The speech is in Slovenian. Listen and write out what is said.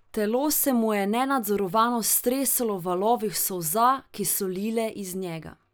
Telo se mu je nenadzorovano stresalo v valovih solza, ki so lile iz njega.